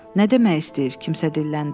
Nə demək istəyir, kimsə dilləndi.